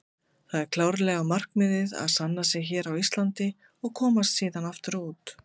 Það er klárlega markmiðið að sanna sig hér á Íslandi og komast síðan aftur út.